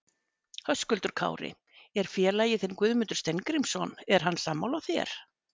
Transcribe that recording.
Höskuldur Kári: Er félagi þinn Guðmundur Steingrímsson, er hann sammála þér?